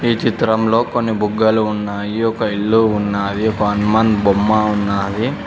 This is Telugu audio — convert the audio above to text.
చిత్రంలో కొన్ని బుగ్గలు ఉన్నాయి ఒక ఇల్లు ఉన్నాది ఒక హనుమాన్ బొమ్మ ఉన్నది.